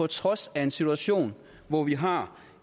trods af en situation hvor vi har